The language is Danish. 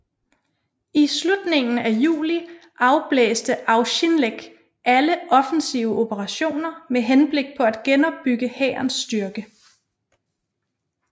I slutningen af juli afblæste Auchinleck alle offensive operationer med henblik på at genopbygge hærens styrke